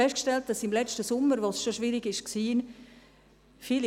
Letzten Sommer, als es schon schwierig war, haben wir festgestellt: